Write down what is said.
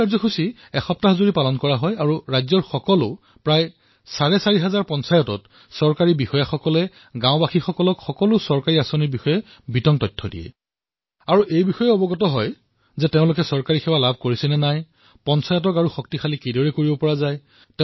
এই কাৰ্যসূচী সপ্তাহজুৰি চলিছিল আৰু ৰাজ্যখনৰ প্ৰায় চাৰে চাৰি হাজাৰ পঞ্চায়তত চৰকাৰী বিষয়াই গাঁওবাসীক চৰকাৰী যোজনা আৰু কাৰ্যসূচীৰ বিষয়ে বিস্তাৰিতভাৱে বৰ্ণনা কৰে